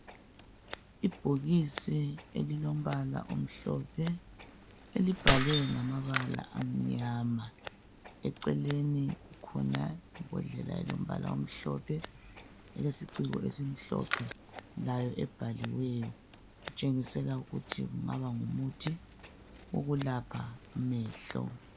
lbhokisi elilombala omhlophe elibhalwe ngamabala amnyama. Eceleni kulebhodlela elombala omhlophe elesiciko esimhlophe layo ebhaliweyo okutshengisela ukuthi kungaba ngumuthi wokulapha amehlo.